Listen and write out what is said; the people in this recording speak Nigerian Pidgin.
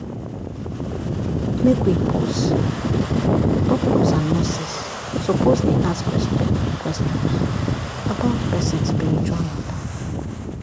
make we pause — doctors and nurses suppose dey ask respectful questions about person spiritual matter.